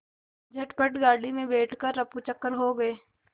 झटपट गाड़ी में बैठ कर ऱफूचक्कर हो गए